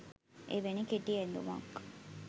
එවැනි කෙටි ඇඳුමක්